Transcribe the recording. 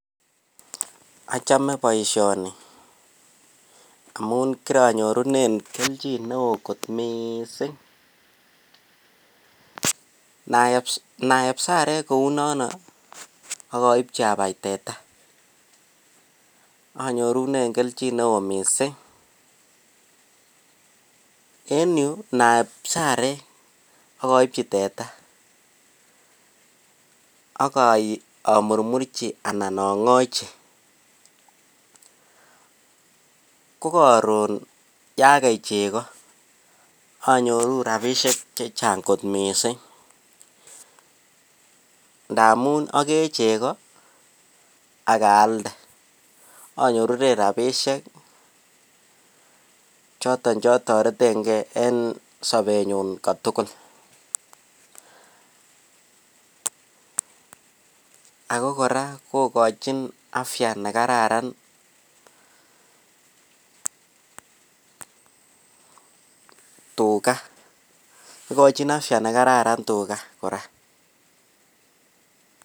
Ochome boisioni amun korinyorunen keljin kot missing ne oo kot missing, naep sarek kounon ak oibji abai teta anyirunen keljin ne oo missing en yuu ntaep sarek ak oibji teta ak omurmurji ana ongochi ko koron kagei chego anyoruu rabishek chechang kot missing ndamun ogee chego ak aalde onyorunen rabishek choton cho toretegee en sobenyun kotugul. Ako koraa kogochin afya nekararan tuga igochin afya nekararan tuga koraa